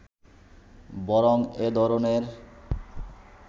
বরং এ ধরনের